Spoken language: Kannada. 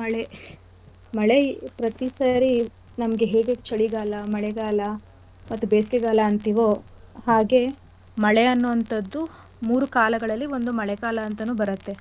ಮಳೆ ಮಳೆ ಪ್ರತಿ ಸಾರಿ ನಮ್ಗೆ ಹೇಗೆ ಚಳಿಗಾಲ ಮಳೆಗಾಲ ಮತ್ತು ಬೇಸಿಗೆಗಾಲ ಅಂತಿವೋ ಹಾಗೆ ಮಳೆ ಅನ್ನೋ ಅಂಥದ್ದು ಮೂರು ಕಾಲಗಳಲ್ಲಿ ಒಂದು ಮಳೆಗಾಲ ಅಂತಾನೂ ಬರತ್ತೆ